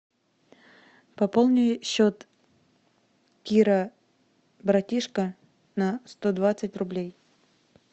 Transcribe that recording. пополни счет кира братишка на сто двадцать рублей